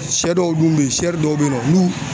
Sɛ dɔw dun be yen sɛri dɔw be yen nɔ, n'u